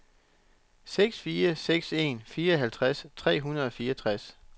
seks fire seks en fireoghalvtreds tre hundrede og fireogtres